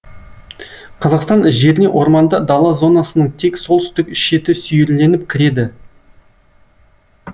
қазақстан жеріне орманды дала зонасының тек солтүстік шеті сүйірленіп кіреді